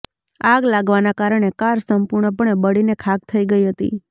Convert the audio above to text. આગ લાગવાના કારણે કાર સંપૂર્ણપણે બળીને ખાખ થઈ ગઈ હતી